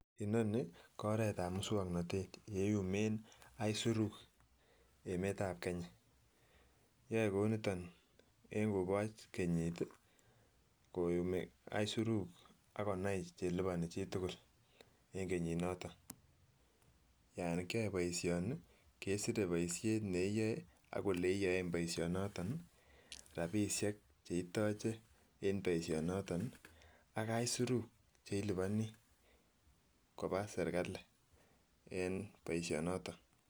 Inoni ko oretab muswongnotet ye iyumen aisurut emetab kenya, yoe kou niton en koboch kenyit ii koyumii aisurut ak konai che liponi chi tugul en kenyit noton. Yon kiyoe boishoni kesir boishet ne iyoe ak ole yoen boisho noton, rabishek che itoche en boisho noton ii ak aisirutu ne iliponii kobaa serikali en boisho noton